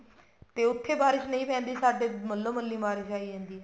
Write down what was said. ਤੇ ਉੱਥੇ ਬਾਰਿਸ਼ ਨਹੀਂ ਪੈਂਦੀ ਤੇ ਸਾਡੇ ਮੱਲੋ ਮੱਲੀ ਬਾਰਿਸ਼ ਆ ਜਾਂਦੀ ਹੈ